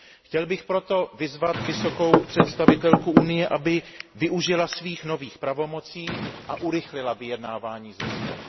Chtěl bych proto vyzvat vysokou představitelku Unie, aby využila svých nových pravomocí a urychlila vyjednávání s Ruskem.